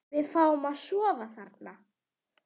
Við fáum að sofa þarna.